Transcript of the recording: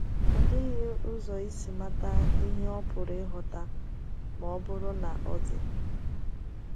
Ọ dịghị ụzọ isi mata ihe ọ pụrụ ịghọta — ma ọ bụrụ na ọ dị.